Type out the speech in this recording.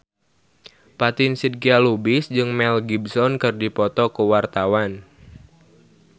Fatin Shidqia Lubis jeung Mel Gibson keur dipoto ku wartawan